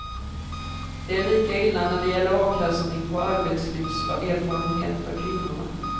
Det är lika illa när det gäller avkastning på arbetslivserfarenhet för kvinnorna.